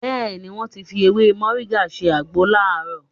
Bẹ́ẹ̀ ni, wọ́n fi ewé Mọ̀ríngà ṣe àgbo láàrọ̀